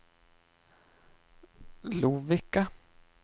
Lovikka